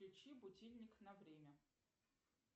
включи будильник на время